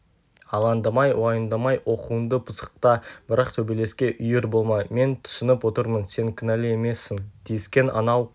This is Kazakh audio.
алаңдамай уайымдамай оқуыңды пысықта бірақ төбелеске үйір болма мен түсініп отырмын сен кінәлі емессің тиіскен анау